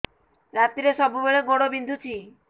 ରାତିରେ ସବୁବେଳେ ଗୋଡ ବିନ୍ଧୁଛି